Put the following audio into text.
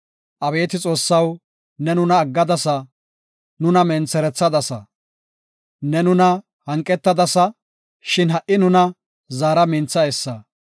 Abeeti Xoossaw, ne nuna aggadasa; nuna mentherthadasa. Ne nuna hanqetadasa; shin ha77i nuna zaara; mintha essa.